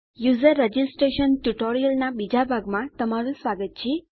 user registration ટ્યુટોરીયલનાં બીજા ભાગમાં તમારું સ્વાગત છે